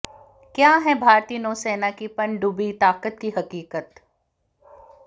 क्या है भारतीय नौसेना की पनडुब्बी ताकत की हकीकत